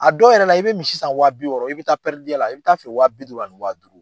A dɔw yɛrɛ la i bɛ misi san wa bi wɔɔrɔ i bɛ taa a la i bi t'a feere wa bi duuru ani wa duuru.